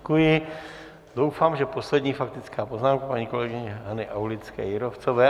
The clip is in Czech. Doufám, že poslední faktická poznámka paní kolegyně Hany Aulické Jírovcové.